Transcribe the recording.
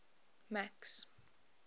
max